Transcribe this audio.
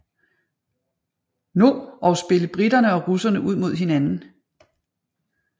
No og spille briterne og russerne ud mod hinanden